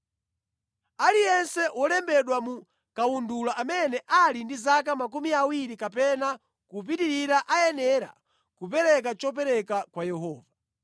Aliyense wolembedwa mu kawundula amene ali ndi zaka makumi awiri kapena kupitirira ayenera kupereka chopereka kwa Yehova.